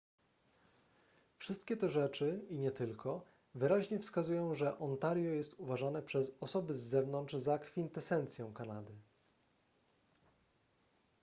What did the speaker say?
wszystkie te rzeczy i nie tylko wyraźnie wskazują że ontario jest uważane przez osoby z zewnątrz za kwintesencję kanady